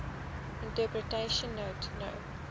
interpretation note no